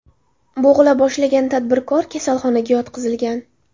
Bo‘g‘ila boshlagan tadbirkor kasalxonaga yotqizilgan.